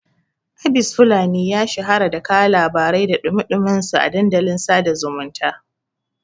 Abis fulani ya shahara da kawo labarai da ɗumi-ɗuminsu a dandalin sada zumunta